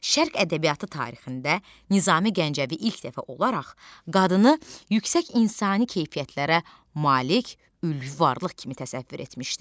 Şərq ədəbiyyatı tarixində Nizami Gəncəvi ilk dəfə olaraq qadını yüksək insani keyfiyyətlərə malik ülvi varlıq kimi təsəvvür etmişdi.